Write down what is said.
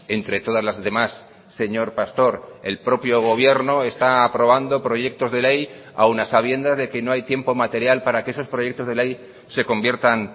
entre todas las demás señor pastor el propio gobierno está aprobando proyectos de ley aun a sabiendas de que no hay tiempo material para que esos proyectos de ley se conviertan